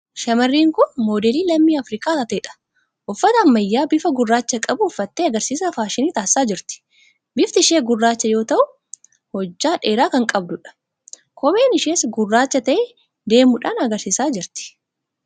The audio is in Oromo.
Shamarreen kun moodelii lammii Afirikaa taateedha. Uffata ammayyaa bifa gurraacha qabu uffattee agarsiisa faashinii taasisaa jirti. Bifti ishee gurraacha yoo ta'u hojjaa dheeraa kan qabduudha. Kopheen ishees gurraacha ta'ee deemuudhaan agarsiisaa jirti.